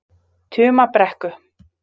Tumabrekku